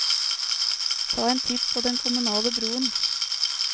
Ta en titt på den kommunale broen.